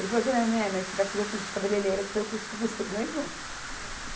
Ele falou assim, é, né, mas você vai fazer o curso de cabeleireira, que foi o curso que você ganhou.